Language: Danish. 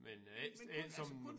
Men ikke ikke som